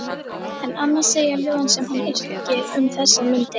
En annað segja ljóðin sem hann yrkir um þessar mundir